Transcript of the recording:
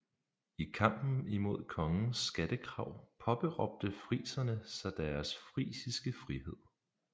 I kampen imod kongens skattekrav påberåbte friserne sig deres frisiske frihed